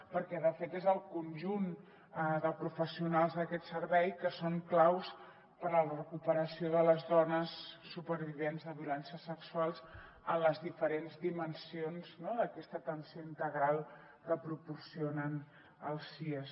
perquè de fet són el conjunt de professionals d’aquest servei els que són claus per a la recuperació de les dones supervivents de violències sexuals en les diferents dimensions d’aquesta atenció integral que proporcionen els sies